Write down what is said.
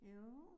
Jo